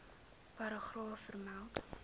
paragraaf vermeld